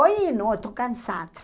Ou não, estou cansada.